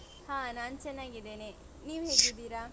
ಹಾ, ನಾನ್ ಚೆನ್ನಾಗಿದ್ದೇನೆ. ನೀವ್ ಹೇಗಿದ್ದೀರಾ?